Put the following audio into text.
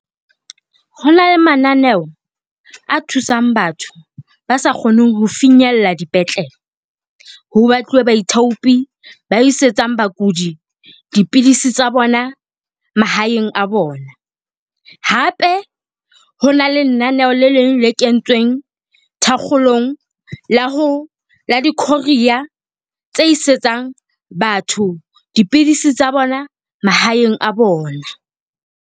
Ho na le mananeo a thusang batho ba sa kgoneng ho finyella dipetlele, ho batluwe baithaopi ba isetsang bakudi dipidisi tsa bona mahaeng a bona. Hape ho na le naneho le leng le kentsweng thakgolong la ho , la di-courier tse isetsang batho dipidisi tsa bona mahaeng a bona.